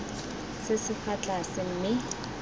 se se fa tlase mme